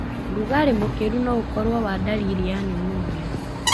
Rugarĩ mũkĩru no ũkorwo w ndariri ya pneumonia.